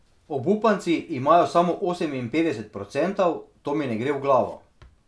Obupanci imajo samo oseminpetdeset procentov, to mi ne gre v glavo.